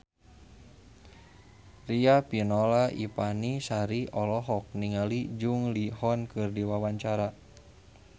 Riafinola Ifani Sari olohok ningali Jung Ji Hoon keur diwawancara